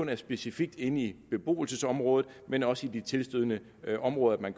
det specifikt inde i beboelsesområdet men også i de tilstødende områder